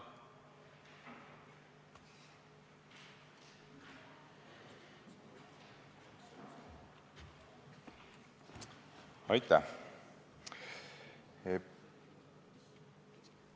Aitäh!